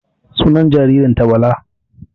Sunan jaririn ta Bala